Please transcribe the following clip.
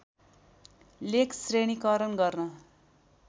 लेख श्रेणीकरण गर्न